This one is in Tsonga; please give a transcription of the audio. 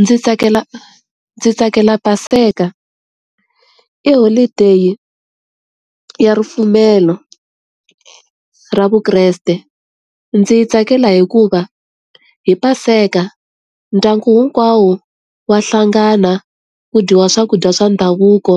Ndzi tsakela ndzi tsakela Paseka. I holideyi ya ripfumelo ra Vukreste. Ndzi yi tsakela hikuva hi Paseka, ndyangu hinkwawo wa hlangana, ku dyiwa swakudya swa ndhavuko,